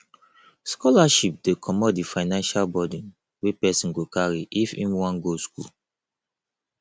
scholarship dey comot di financial buden wey person go carry if im wan go school